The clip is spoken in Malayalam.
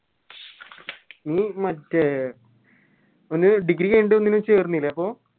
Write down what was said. ഇഞ് മറ്റേ പിന്നെ Degree കയിന്നിട്ട് ഒന്നിനും ചേർന്നില്ലേ അപ്പൊ